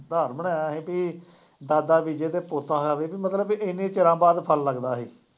ਸਿਧਾਂਤ ਬਣਾਇਆ ਸੀ ਕਿ ਦਾਦਾ ਬੀਜੇ ਅਤੇ ਪੋਤਾ ਖਾਵੇ ਕਿ ਮਤਲਬ ਕਿ ਐਨੇ ਚਿਰਾਂ ਬਾਅਦ ਫਲ ਲੱਗਦਾ ਸੀ